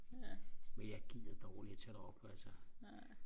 men jeg gider dårligt og tage derop altså